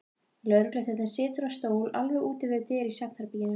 Lögregluþjónn situr á stól alveg úti við dyr í svefnherberginu.